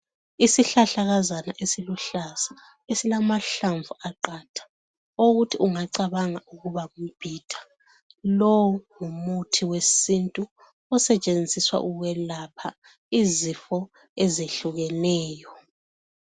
Isihlahlakazana esilihlaza esiluhlaza esilamahlamvu aqatha okokuthi ungacabanga ukuba ngumbhida lowu ngumuthi wesintu osetshenziswa ukwelapha izifo ezehlukeneyo.